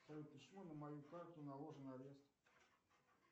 почему на мою карту наложен арест